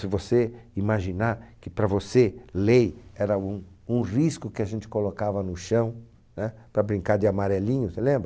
Se você imaginar que, para você, lei era um um risco que a gente colocava no chão, né? Para brincar de amarelinho, você lembra?